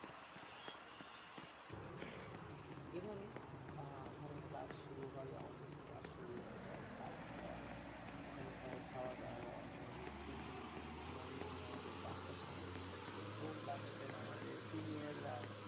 এবারে ওখানে class শুরু হয় আমাদের class শুরু হয়ে যায় তারপর ওখানকার খাবার দেওয়া morningPTmorning এ আমাদের পাঁচটার সময় উঠতে হতো ঘুম ভাঙছে না আমাদের senior রা আসতো